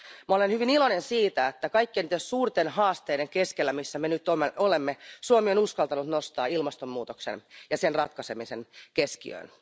Olen hyvin iloinen siitä, että kaikkien niiden suurten haasteiden keskellä, missä me nyt olemme, Suomi on uskaltanut nostaa ilmastonmuutoksen ja sen ratkaisemisen keskiöön.